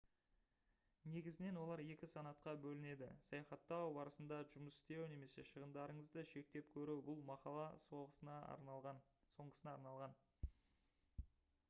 негізінен олар екі санатқа бөлінеді саяхаттау барысында жұмыс істеу немесе шығындарыңызды шектеп көру бұл мақала соңғысына арналған